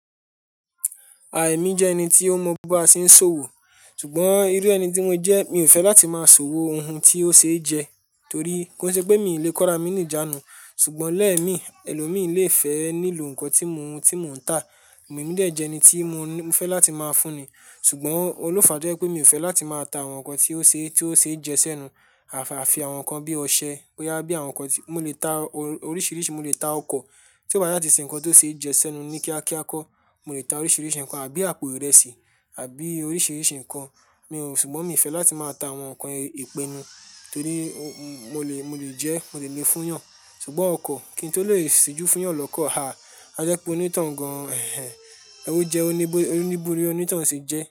À emi jẹ́ ẹni tí ó mọ ba a ṣe ń ṣòwò, ṣùgbọ́n irú ẹni tí mo jẹ́ mi ò fẹ́ láti máa ṣòwò ohun tí ó ṣe jẹ, torí kó ṣe pé mi ò lè kọrá mí ní ìjánu. Ṣùgbọ́n lẹ́ẹ̀mi, ẹlò míì lé fẹ́ nílò ǹkan tí mo ń ta, èmi ní díẹ̀ jẹ́ ẹni tí mo fẹ́ láti máa fún ni. Ṣùgbọ́n òun ló fàá tó jẹ́ wípé mi ò fẹ́ láti máa ta àwọn ǹkan tí ó ṣe é jẹ sẹ́nu, àfi àwọn ǹkan bí ọṣẹ, bóyá bí àwọn ǹkan tí, mo lè ta oríṣiríṣi, mo lè ta ọkọ̀ tí ò bá ṣáà tí ṣe ǹkan tó ṣe é jẹ sẹ́nu ní kíákíá kọ́. Mo lè ta oríṣiríṣi ǹkan àbí àpò ìrẹsì àbí oríṣiríṣi ǹkan. Mi ò, ṣùgbọ́n mi ò fẹ́ láti máa ta àwọn ǹkan ìpenu torí mo lè jẹ́ ẹ́, mo dẹ̀ le fún yàn. Ṣùgbọ́n ọkọ̀ kí n tó lè ṣíjú fún yàn lọ́kọ̀, à, á jẹ́ pé onítọ̀hún gan-an ẹ̀hẹ̀n ójẹ́ óní bórí, onítọ̀hún ṣe jẹ́